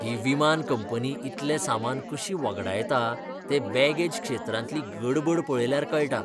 ही विमान कंपनी इतलें सामान कशी वगडायता तें बॅगेज क्षेत्रांतली गडबड पळयल्यार कळटा.